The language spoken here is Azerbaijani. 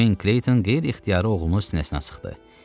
Ceyn Kleyton qeyri-ixtiyari oğlunu sinəsinə sıxdı.